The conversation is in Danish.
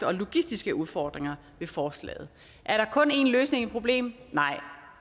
og logistiske udfordringer i forslaget er der kun en løsning på et problem nej